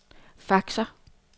faxer